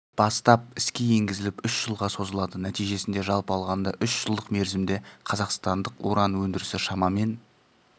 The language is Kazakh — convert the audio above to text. бастап іске енгізіліп үш жылға созылады нәтижесінде жалпы алғанда үш-жылдық мерзімде қазақстандық уран өндірісі шамамен